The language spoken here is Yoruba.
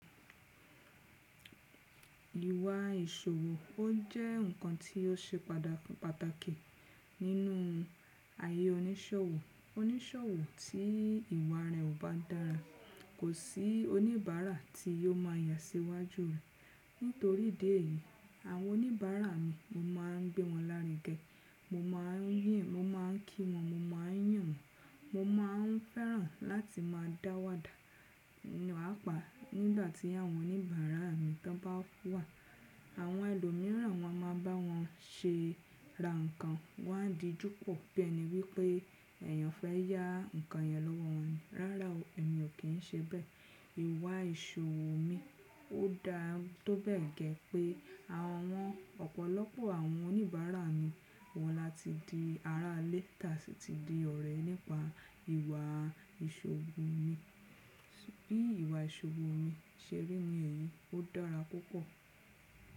Ìwà ìṣòwò ọ jẹ́ ǹkan tí o ṣe pàtàkì nínú ayé oníṣòwò. Oníṣòwò tí ìwà rẹ̀ ò bá dára, kò sí oníbàárà tí yóò má a yà sí iwájú rẹ̀. Nítorí idi eyìí, àwọn oníbàárà mi mo má a ń gbé wọn lárugẹ, mo ma ń kí wọn, mo ma ń yàn wọ́n, mo ma ń fẹ́ràn láti má a dáwàdà pàpá nígbà tí àwọn oníbàárà mi bá wà. Àwọn ẹlòmíràn wọn a má a bá wọn ṣe ra nǹkan, wọ́n a díjú pọ̀ bí ẹni wípé ẹ̀yàn fẹ́ yá nǹkan yẹn lọ́wọ́ wọn. Rárá o, èmi o kín ń ṣe bẹ́ẹ̀. Ìwà ìṣòwò mi ò dá tó bẹ́ẹ̀ gẹ́ pé àwọn ọ̀pọ̀lọpọ̀ àwọn oníbàárà mi wọ́n láti di ará ilé tàtí ṣe di ọ̀rẹ́ nípa ìwà ìṣòwò mi. Bí ìwà ìṣòwò mi ṣe rí ní èyí, ó dára púpọ̀.